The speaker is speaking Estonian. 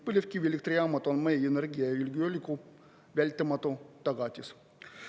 Põlevkivielektrijaamad on meie energiajulgeoleku vältimatu tagatis.